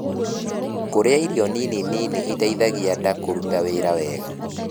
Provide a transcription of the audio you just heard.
Kurĩa irio nini nini itaithagia ndaa kũrũta wĩra wega